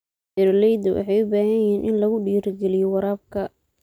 Beeralayda waxay u baahan yihiin in lagu dhiirigeliyo waraabka.